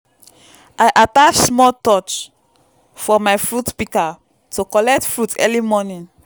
i attach small torch for my fruit pika to collect fruit early morning.